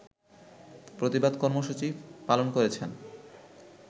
প্রতিবাদ কর্মসূচি পালন করেছেন